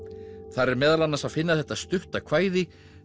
þar er meðal annars að finna þetta stutta kvæði